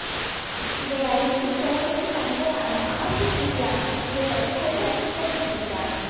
இதை அறியும் சோனுவின் தந்தையான ஆஷிஷ் வித்யார்த்தி இவர்களை கொல்ல திட்டம் தீட்டுகிறார்